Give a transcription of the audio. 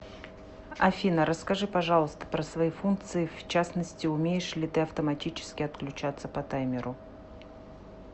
афина расскажи пожалуйста про свои функции в частности умеешь ли ты автоматически отключаться по таймеру